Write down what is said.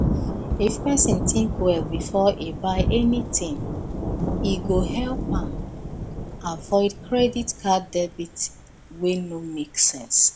if person think well before e buy anything e go help am avoid credit card debt wey no make sense